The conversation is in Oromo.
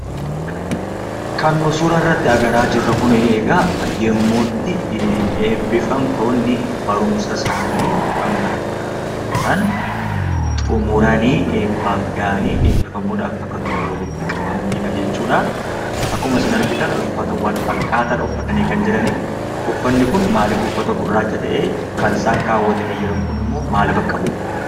Kan nu suuraa irratti argaa jirru kun egaa yeroo itti eebbifamtoonni barumsa isaanii kan barataa turan xumuranii eebbaaf gahanii eebbifamuudhaaf bakka tokkotti waliit qabamanidha jechuudha. Akkuma isin argitan uffata walfakkaataadha kan uffatanii argamanii. Uffanni kun maaliif uffata gurraacha ta'ee? Kan isaan kaawwatanii jiran kunimmoo maal bakka bu'aa?